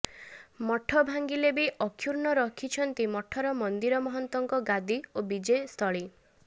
ମଠ ଭାଙ୍ଗିଲେ ବି ଅକ୍ଷୁର୍ଣ ରଖିଛନ୍ତି ମଠର ମନ୍ଦିର ମହନ୍ତଙ୍କ ଗାଦି ଓ ବିଜେ ସ୍ଥଳୀ